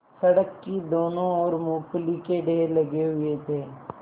सड़क की दोनों ओर मूँगफली के ढेर लगे हुए थे